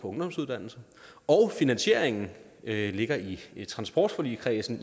ungdomsuddannelse og finansieringen ligger i i transportforligskredsen